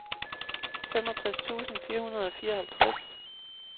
femogtres tusind fire hundrede og fireoghalvtreds